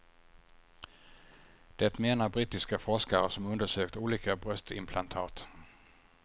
Det menar brittiska forskare som undersökt olika bröstimplantat.